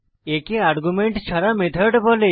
একে আর্গুমেন্ট ছাড়া মেথড বলে